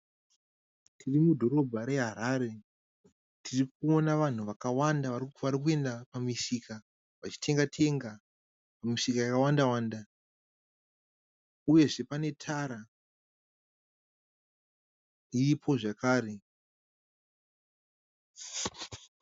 Tirimudhorobha reHarare tirikuona vanhu vakawanda varikuenda pamisika vachitenga tenga. Misika yakawanda wanda uyezve pane tara iripo zvekare.